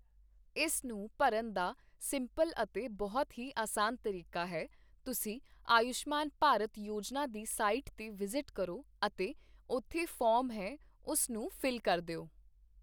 ਇਸ ਨੂੰ ਭਰਨ ਦਾ ਸਿੰਪਲ ਅਤੇ ਬਹੁਤ ਹੀ ਆਸਾਨ ਤਰੀਕਾ ਹੈ, ਤੁਸੀਂ ਆਯੂਸ਼ਮਾਨ ਭਾਰਤ ਯੋਜਨਾ ਦੀ ਸਾਈਟ 'ਤੇ ਵਿਜ਼ਿਟ ਕਰੋ ਅਤੇ ਉੱਥੇ ਫੋਮ ਹੈ ਉਸ ਨੂੰ ਫਿੱਲ ਕਰ ਦਿਓ